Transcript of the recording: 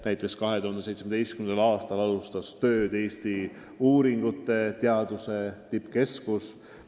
Näiteks alustas 2017. aastal tööd Eesti-uuringute Tippkeskus.